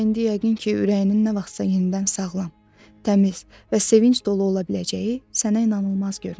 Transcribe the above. Mən indi yəqin ki, ürəyinin nə vaxtsa yenidən sağlam, təmiz və sevinc dolu ola biləcəyi sənə inanılmaz görünür.